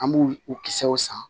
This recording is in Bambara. An b'u u kisɛw san